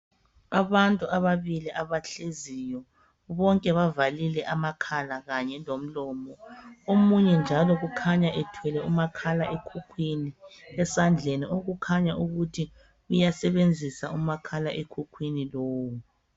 Abantu ababili abahleziyo, bonke bavalile amakhala kanye lomlomo, omunye njalo kukhanya ethwele umakhala ekhukhwini esandleni okukhanya ukuthi uyasebenzisa umakhala ekhukhwini lowo.